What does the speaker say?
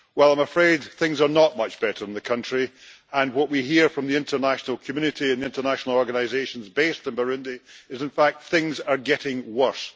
Well, I am afraid things are not much better in the country, and what we hear from the international community and the international organisations based in Burundi is that, in fact, things are getting worse.